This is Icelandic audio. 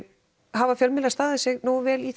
hafa fjölmiðlar staðið sig nógu vel í